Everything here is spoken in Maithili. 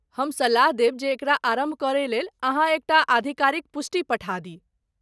हम सलाह देब जे एकरा आरम्भ करयलेल अहाँ एक टा आधिकारिक पुष्टि पठा दी।